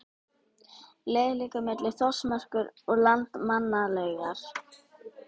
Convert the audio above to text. Leiðin liggur milli Þórsmerkur og Landmannalauga.